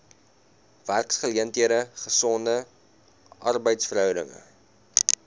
werksgeleenthede gesonde arbeidsverhoudinge